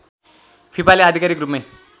फिफाले आधिकारिक रूपमै